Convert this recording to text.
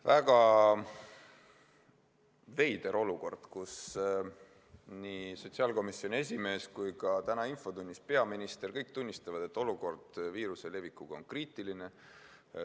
Väga veider olukord, kõik – nii sotsiaalkomisjoni esimees kui ka peaminister täna infotunnis – tunnistavad, et olukord viiruse levikuga on kriitiline.